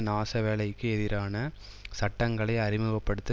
நாசவேலைக்கு எதிரான சட்டங்களை அறிமுக படுத்த